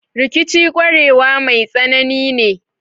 Rikici kwarewa mai tsanani ne.